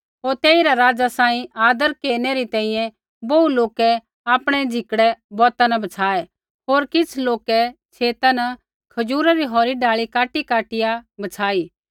होर तेइरा राज़ा सांही आदर केरनै री तैंईंयैं बोहू लौके आपणै झिकड़ै बौता न बछाये होर किछ़ लौके छेता न खजूरै री होरी डाल़ी काटीकाटिया बछाई